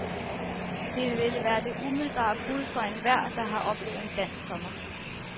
Det ville være det umiddelbare bud fra enhver, der har oplevet en dansk sommer.